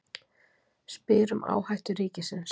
Spyr um áhættu ríkisins